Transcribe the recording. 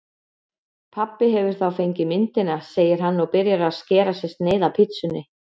Pabbi hefur þá fengið myndina, segir hann og byrjar að skera sér sneið af pitsunni.